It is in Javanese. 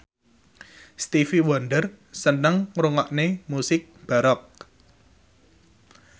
Stevie Wonder seneng ngrungokne musik baroque